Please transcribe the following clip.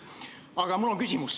Aga mul on küsimus.